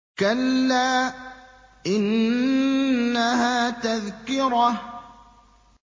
كَلَّا إِنَّهَا تَذْكِرَةٌ